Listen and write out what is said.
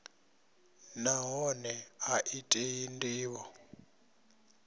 nahone a i tei ndivho